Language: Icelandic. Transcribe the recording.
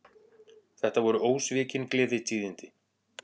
Þetta voru ósvikin gleðitíðindi